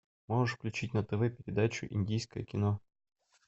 можешь включить на тв передачу индийское кино